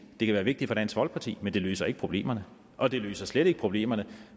det kan være vigtigt for dansk folkeparti men det løser ikke problemerne og det løser slet ikke problemerne